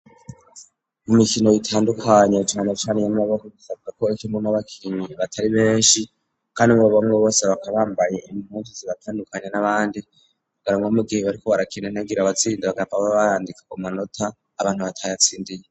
Mu mikino bitandukanye canacaniye n'amaboko gusabwa ko ekonko n'abakinyi batari menshi, kandi mu babamwe bose bakabambaye impundu zibatandukanya n'abandi kugaramga mugihe bariko barakenda ntagira abatsinda bagapaba barandika ku manota abantu batayatsindiye.